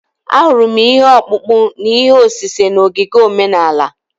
Ahụrụ m ihe ọkpụkpụ na ihe osise n’ogige omenala.